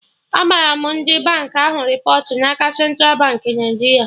Agbara m ndị bank ahụ repọt n'aka Central Baankị Naijiria